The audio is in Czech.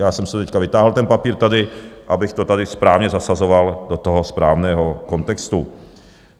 Já jsem si teď vytáhl ten papír tady, abych to tady správně zasazoval do toho správného kontextu.